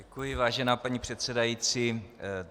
Děkuji, vážená paní předsedající.